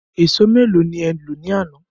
Ẹ̀sọ́ méèló ni e lọ ní àná?